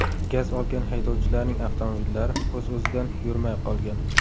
Gaz olgan haydovchilarning avtomobillari o‘z-o‘zidan yurmay qolgan.